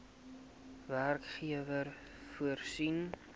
werkgewer voorsien